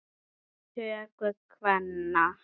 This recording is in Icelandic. töku kvenna.